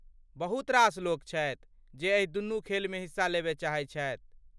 बहुत रास लोक छथि जे एहि दुनू खेलमे हिस्सा लेबय चाहैत छथि।